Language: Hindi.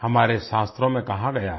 हमारे शास्त्रों में कहा गया है